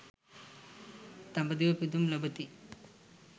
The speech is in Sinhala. දඹදිව පිදුම් ලබති.